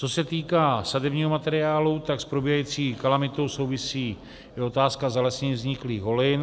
Co se týká sadebního materiálu, tak s probíhající kalamitou souvisí i otázka zalesnění vzniklých holin.